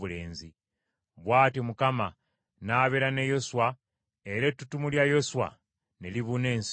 Bw’atyo Mukama n’abeera ne Yoswa, era ettutumu lya Yoswa ne libuna ensi eyo yonna.